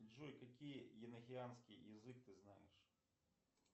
джой какие енохианский язык ты знаешь